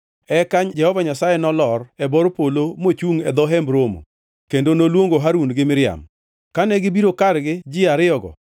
Eka Jehova Nyasaye nolor e bor polo; mochungʼ e dho Hemb Romo kendo noluongo Harun gi Miriam. Kane gibiro kargi ji ariyogo,